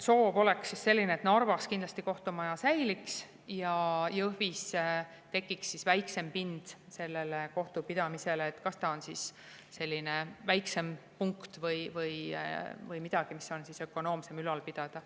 Soov on selline, et Narva kohtumaja kindlasti säiliks ja Jõhvis tekiks väiksem pind kohtupidamisele, kas see on siis väiksem või midagi, mida on ökonoomsem ülal pidada.